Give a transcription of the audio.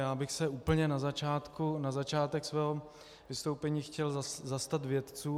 Já bych se úplně na začátek svého vystoupení chtěl zastat vědců.